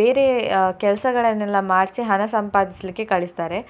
ಬೇರೆ ಅಹ್ ಕೆಲಸಗಳನ್ನೆಲ್ಲ ಮಾಡ್ಸಿ ಹಣ ಸಂಪಾದಿಸ್ಲಿಕ್ಕೆ ಕಳಿಸ್ತಾರೆ.